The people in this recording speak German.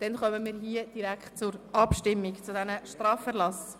Dann kommen wir direkt zur Abstimmung über diese Straferlasse.